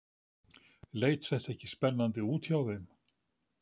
Leit þetta ekki spennandi út hjá þeim?